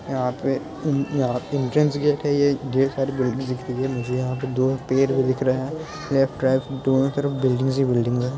यहाँ पे यहाँ पुंजन गेट है। यहाँ ढेर सारी बिल्डिंग दिख रही है मुझे यहाँ पे दो पेड़ भी दिख रहे है लेफ्ट राइट दोनों तरफ बिल्डिंग ही बिल्डिंग है ।